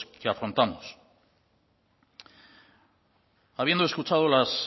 que afrontamos habiendo escuchado las